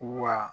Wa